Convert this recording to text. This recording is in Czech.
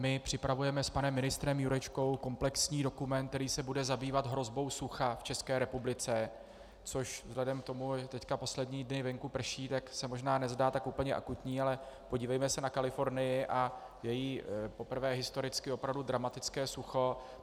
My připravujeme s panem ministrem Jurečkou komplexní dokument, který se bude zabývat hrozbou sucha v České republice, což vzhledem k tomu, že teď poslední dny venku prší, tak se možná nezdá tak úplně akutní, ale podívejme se na Kalifornii a její poprvé historicky opravdu dramatické sucho.